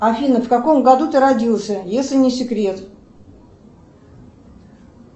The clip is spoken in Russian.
афина в каком году ты родился если не секрет